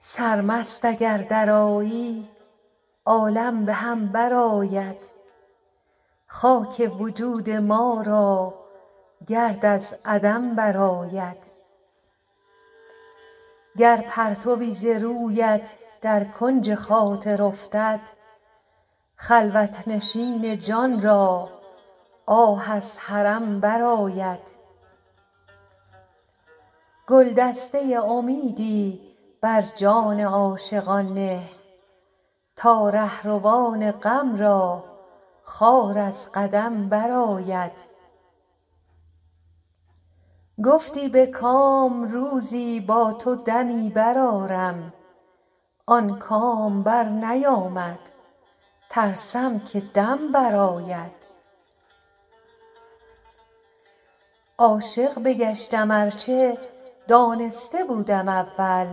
سرمست اگر درآیی عالم به هم برآید خاک وجود ما را گرد از عدم برآید گر پرتوی ز رویت در کنج خاطر افتد خلوت نشین جان را آه از حرم برآید گلدسته امیدی بر جان عاشقان نه تا رهروان غم را خار از قدم برآید گفتی به کام روزی با تو دمی برآرم آن کام برنیامد ترسم که دم برآید عاشق بگشتم ار چه دانسته بودم اول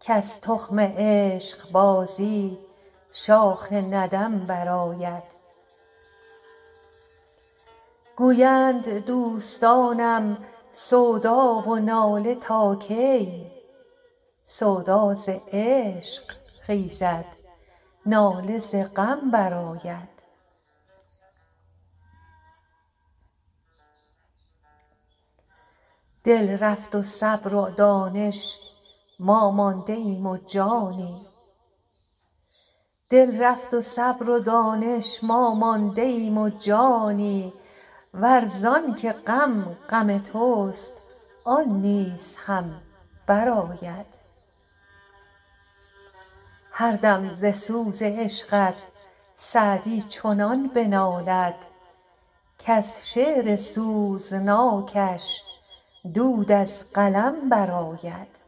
کز تخم عشقبازی شاخ ندم برآید گویند دوستانم سودا و ناله تا کی سودا ز عشق خیزد ناله ز غم برآید دل رفت و صبر و دانش ما مانده ایم و جانی ور زان که غم غم توست آن نیز هم برآید هر دم ز سوز عشقت سعدی چنان بنالد کز شعر سوزناکش دود از قلم برآید